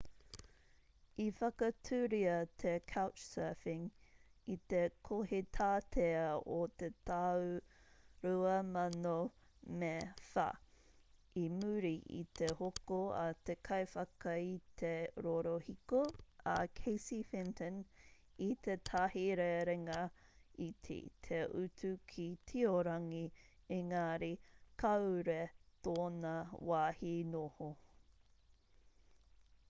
i whakatūria te couchsurfing i te kohitātea o te tau 2004 i muri i te hoko a te kaiwhakaite rorohiko a casey fenton i tētahi rerenga iti te utu ki tiorangi engari kāore tōna wāhi noho